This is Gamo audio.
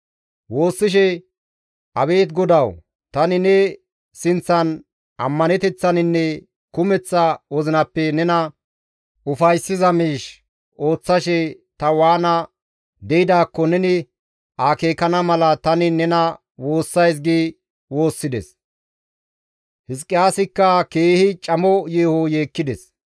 Woossishe, «Abeet GODAWU, tani ne sinththan ammaneteththaninne kumeththa wozinappe nena ufayssiza miish ooththashe ta waana de7idaakko neni akeekana mala tani nena woossays» gi woossides; Hizqiyaasikka keehi camo yeeho yeekkides.